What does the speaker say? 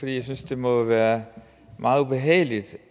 jeg synes det må være meget ubehageligt